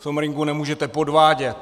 V tom ringu nemůžete podvádět.